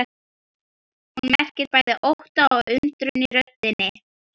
Hún merkir bæði ótta og undrun í röddinni.